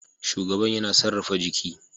Shugaban yana sarrafa jiki